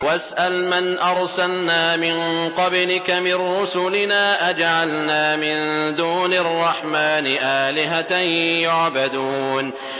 وَاسْأَلْ مَنْ أَرْسَلْنَا مِن قَبْلِكَ مِن رُّسُلِنَا أَجَعَلْنَا مِن دُونِ الرَّحْمَٰنِ آلِهَةً يُعْبَدُونَ